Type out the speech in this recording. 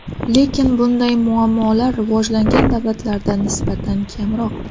Lekin bunday muammolar rivojlangan davlatlarda nisbatan kamroq.